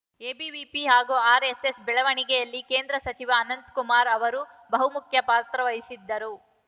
ABVP ಹಾಗೂ RSS ಬೆಳವಣಿಗೆಯಲ್ಲಿ ಕೇಂದ್ರ ಸಚಿವ ಅನಂತ್‌ ಕುಮಾರ್‌ ಅವರು ಬಹುಮುಖ್ಯ ಪಾತ್ರವಹಿಸಿದ್ದರು